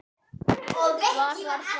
Hvar var það?